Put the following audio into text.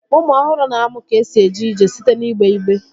Ụmụ ọhụrụ na-amụ ka esi eje ije site n'igbe igbe